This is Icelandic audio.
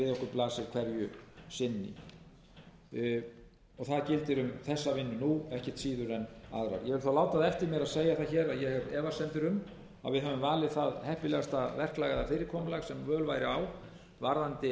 gildir um þessa vinnu nú ekkert síður en aðra ég vil þó láta það eftir mér að segja það hér að ég hef efasemdir um að við höfum valið það heppilegasta verklag eða fyrirkomulag sem völ væri á varðandi